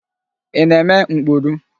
Ị na-eme mkpuru?